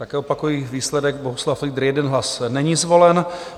Také opakuji výsledek: Bohuslav Fliedr 1 hlas, není zvolen.